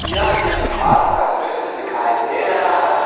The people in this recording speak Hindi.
यह एक फॉर्म का दृश्य दिखाई दे रहा है।